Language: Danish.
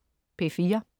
P4: